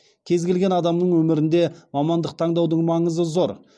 кез келген адамның өмірінде мамандық таңдаудың маңызы зор